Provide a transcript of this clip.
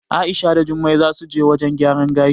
A'isha da Jummai zasu je wajen gyaran gashi.